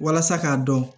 Walasa k'a dɔn